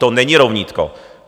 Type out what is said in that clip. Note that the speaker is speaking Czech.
To není rovnítko.